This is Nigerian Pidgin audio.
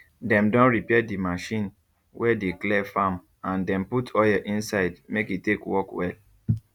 dem don repair d machine wey dey clear farm and dem put oil inside make e take work well